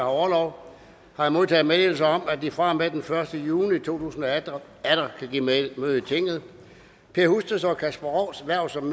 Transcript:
orlov har jeg modtaget meddelelse om at de fra og med den første juni to tusind og atten atter kan give møde i tinget per husteds og kasper rougs hverv som